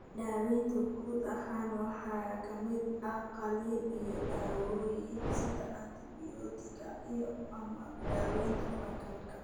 Daawaynta guud ahaan waxa ka mid ah qalliin iyo dawooyin sida antibiyootiga iyo/ama daawaynta fungal.